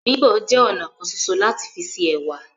Bíbọ̀ jẹ ọnà kan ṣoṣo lati fi se ẹwà.